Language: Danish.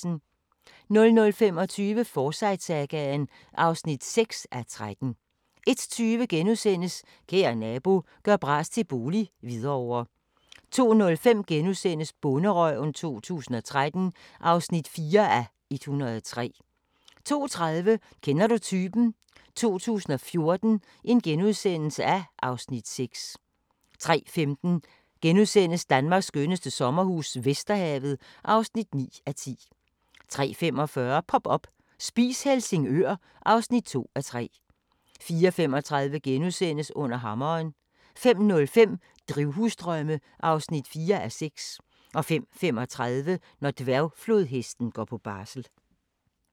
00:25: Forsyte-sagaen (6:13) 01:20: Kære nabo – gør bras til bolig - Hvidovre * 02:05: Bonderøven 2013 (4:103)* 02:30: Kender du typen? 2014 (Afs. 6)* 03:15: Danmarks skønneste sommerhus - Vesterhavet (9:10)* 03:45: Pop up – Spis Helsingør (2:3) 04:35: Under hammeren * 05:05: Drivhusdrømme (4:6) 05:35: Når dværgflodhesten går på barsel